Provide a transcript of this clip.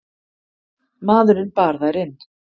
Maðurinn bar þær inn.